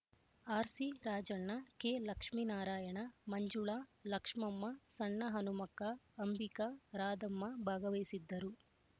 RC Rajanna K Lakshminarayana Manjula Lakshmamma Sanna Hanumakka Ambika Radhamma ಭಾಗವಹಿಸಿದ್ದರು